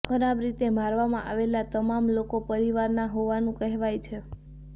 ખરાબ રીતે મારવામાં આવેલા તમામ લોકો પરિવારના હોવાનું કહેવાય છે